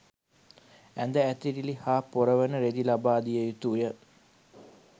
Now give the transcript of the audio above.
ඇඳ ඇතිරිලි හා පොරවන රෙදි ලබාදිය යුතුය